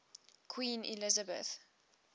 queen elizabeth